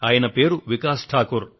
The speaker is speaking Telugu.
ఆయన పేరు శ్రీ వికాస్ ఠాకూర్